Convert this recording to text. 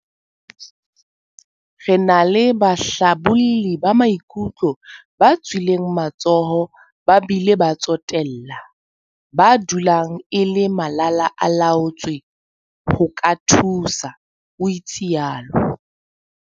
Re na le bahlabolli ba maikutlo ba tswileng matsoho ba bile ba tsotella, ba dulang e le malala-a-laotswe ho ka thusa, o itsalo.